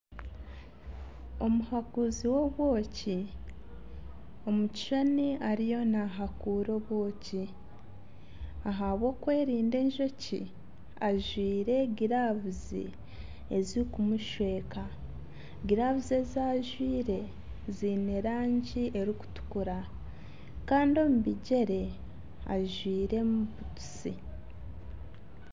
Omuhakuuzi w'obwoki omu kishushani ariyo nahakuura obwoki ahabwokwerinda enjoki ajwaire giravuzi zikumushweka giravuzi ezi ajwaire ziine erangi erikutukura kandi omu bigyere ajwairemu butusi .